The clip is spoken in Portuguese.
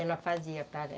Ela fazia,